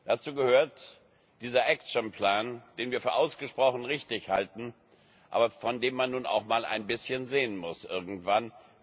Dazu gehört dieser action plan den wir für ausgesprochen richtig halten, aber von dem man nun auch mal ein bisschen sehen muss irgendwann.